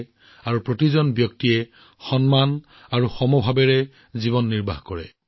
তেওঁ বিচাৰিছিল প্ৰতিজন ব্যক্তিয়ে সন্মান আৰু সমতাৰ জীৱন যাপন কৰক